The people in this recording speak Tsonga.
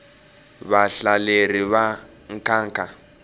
vahlaleri va nkhankha